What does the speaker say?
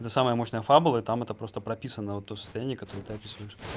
эта самая мощная фабулы и там это просто прописана вот то состояние которое ты описываешь